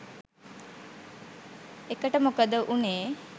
එකට මොකද උනේ?